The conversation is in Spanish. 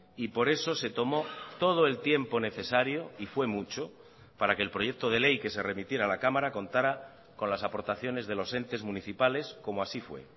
y por eso se tomó todo el tiempo necesario y fue mucho para que el proyecto de ley que se remitiera a la cámara contara con las aportaciones de los entes municipales como así fue